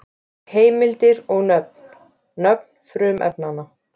Heimildir og mynd: Nöfn frumefnanna.